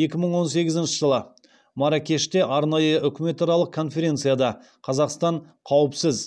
екі мың он сегізінші жылы марракеште арнайы үкіметаралық конференцияда қазақстан қауіпсіз